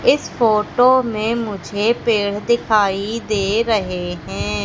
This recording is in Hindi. इस फोटो में मुझे पेड़ दिखाई दे रहे हैं।